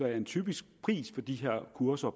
er en typisk pris på de her kurser